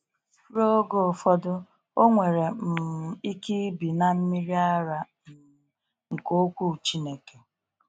Ruo oge ụfọdụ, o nwere um ike ibi n’mmịrị ara um nke okwu Chineke.